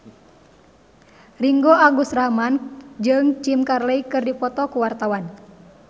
Ringgo Agus Rahman jeung Jim Carey keur dipoto ku wartawan